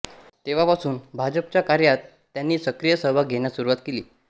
तेव्हापासून भाजपच्या कार्यात त्यांनी सक्रिय सहभाग घेण्यास सुरुवात केली